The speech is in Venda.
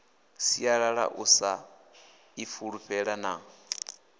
sialala u sa ifulufhela na